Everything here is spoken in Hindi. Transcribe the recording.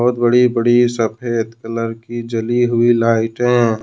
बहुत बड़ी बड़ी सफेद कलर की जली हुई लाइटें।